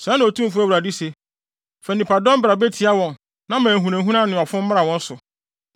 “Sɛɛ na Otumfo Awurade se: Fa nnipadɔm bra betia wɔn na ma ahunahuna ne ɔfom mmra wɔn so.